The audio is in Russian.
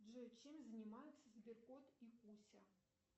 джой чем занимаются сбер кот и куся